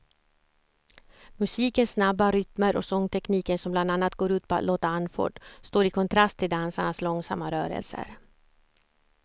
Musikens snabba rytmer och sångtekniken som bland annat går ut på att låta andfådd står i kontrast till dansarnas långsamma rörelser.